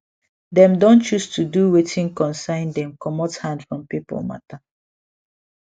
dem don choose to do watin concern them comot hand from people matter